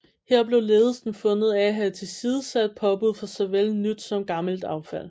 Her blev ledelsen fundet af have tilsidesat påbud for såvel nyt som gammelt affald